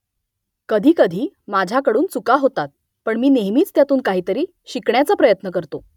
कधीकधी माझ्याकडून चुका होतात पण मी नेहमीच त्यातून काहीतरी शिकण्याचा प्रयत्न करतो